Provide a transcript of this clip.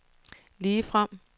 ligefrem